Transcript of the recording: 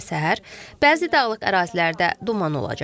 Gecə və səhər bəzi dağlıq ərazilərdə duman olacaq.